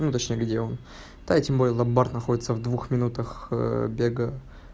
ну точно где он та эти мой ломбард находится в двух минутах бега